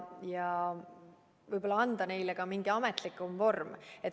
Võib‑olla tuleks anda sellele ka mingi ametlikum vorm.